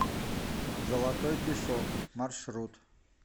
золотой песок маршрут